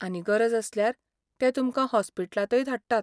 आनी गरज आसल्यार ते तुमकां हॉस्पिटलांतय धाडटात.